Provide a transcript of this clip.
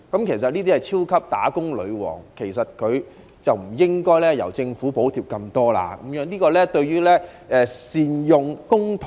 這些是超級"打工女王"，政府不應該補貼這麼多，因為這未必是善用公帑。